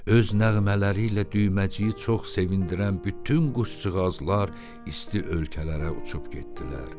Öz nəğmələri ilə Düyməciyi çox sevindirən bütün quşcuğazlar isti ölkələrə uçub getdilər.